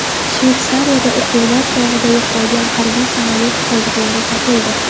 Shveysariyada o‘quvlar chog‘ida yo‘qolgan harbiy samolyot qoldiqlari topildi.